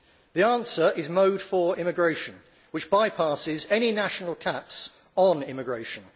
The answer is Mode 4 immigration, which bypasses any national caps on immigration.